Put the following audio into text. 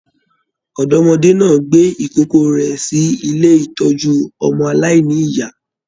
Ọdọ́mọdẹ́ náà gbé ìkókó rẹ sí ilé ìtọjú ọmọ aláìníya.